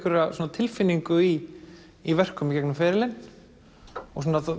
tilfinningu í í verkum í gegnum ferilinn og